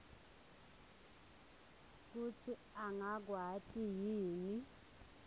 kutsi angakwati yini